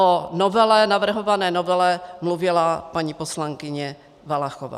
O navrhované novele mluvila paní poslankyně Valachová.